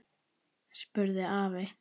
spurði afi.